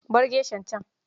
Bar geshan can.